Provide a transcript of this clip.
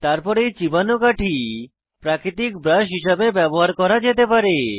তারপর এই চিবানো কাঠি প্রাকৃতিক ব্রাশ হিসাবে ব্যবহার করা যেতে পারে